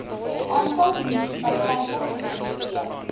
aantal munisipaliteite gemoniteer